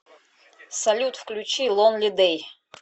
салют включи лонли дэй